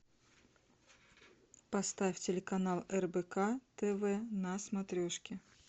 поставь телеканал рбк тв на смотрешке